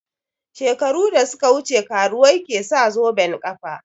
Shekaru da suka wuce karuwai ke sa zoben ƙafa